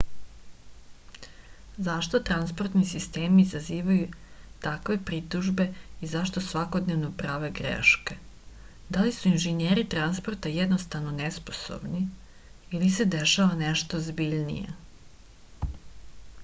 zašto transportni sistemi izazivaju takve pritužbe i zašto svakodnevno prave greške da li su inženjeri transporta jednostavno nesposobni ili se dešava nešto ozbiljnije